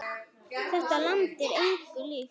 Þetta land er engu líkt.